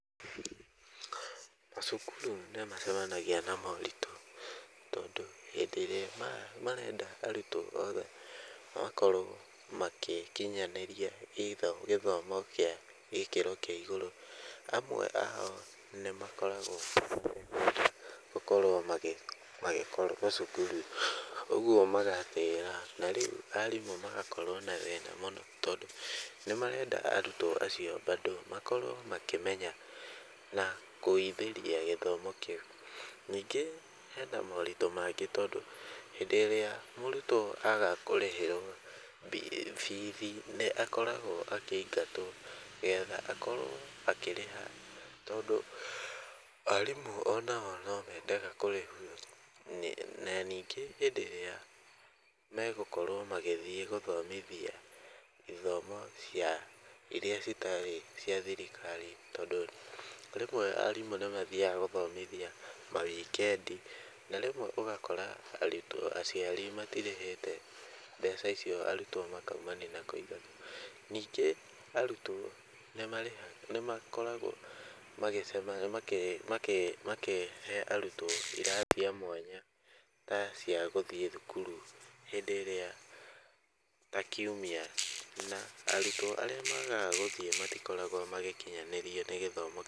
Macukurũ nĩmacemanagia na moritũ tondũ hĩndĩ ĩrĩa marenda arutwo othe makorwo magĩkinyanĩria either gĩthomo kĩa gĩkĩro kĩa igũrũ amwe ao nĩmakoragwo gũkorwo magĩkorwo cukuru, ũguo magatĩra narĩu arimũ magakorwo na thĩna mũno tondũ nĩmarenda arutwo acio bado makorwo makĩmenya na gũithĩria gĩthomo kĩu. Ningĩ hena moritũ mangĩ tondũ, hĩndĩ ĩrĩa mũrutwo aga kũrĩhĩrwo bithi nĩakoragwo akĩingatwo getha akorwo akĩrĩha tondũ arimũ onao no mendaga kũrĩhũo na ningĩ hĩndĩ ĩrĩa megũkorwo magĩthiĩ gũthomithia ithomo cia iria citarĩ cia thirikari tondũ rĩmwe arimũ nĩmathiaga gũthomithia mawikendi na rĩmwe ũgakora arutwo aciari matirĩhĩte mbeca icio arutwo makaumania na kũingatwo. Ningĩ arutwo nĩmarĩha nĩmakoragwo magĩcemania makĩhe arutwo irathi cia mwanya ta cia gũthiĩ thukuru hĩndĩ ĩrĩa ta kiumia na arutwo arĩa maagaga gũthiĩ matikoragwo magĩkinyanĩrio nĩ gĩthomo.